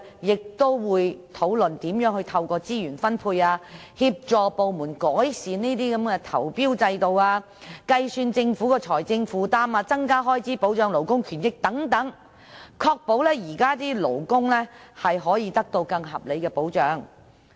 該小組會討論如何透過資源分配，協助部門改善投標制度，並計算政府的財政負擔，增加開支以保障勞工權益等，務求確保現時的勞工能獲得更合理的保障。